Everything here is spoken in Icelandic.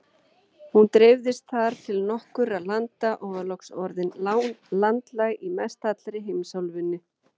Hún dreifðist þar til nokkurra landa og var loks orðin landlæg í mestallri heimsálfunni.